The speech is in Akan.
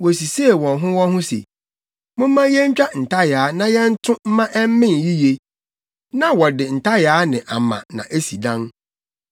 Wosisee wɔn ho wɔn ho se, “Momma yentwa ntayaa na yɛnto mma ɛmmen yiye.” Na wɔde ntayaa ne ama na esi adan.